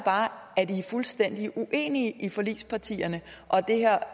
fuldstændig uenig blandt forligspartierne og